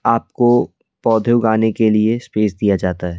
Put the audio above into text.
आपको पौधे उगाने के लिए स्पेस दिया जाता है।